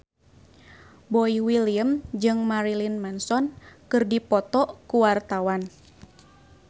Boy William jeung Marilyn Manson keur dipoto ku wartawan